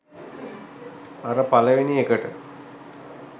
අර පළවෙනි එකට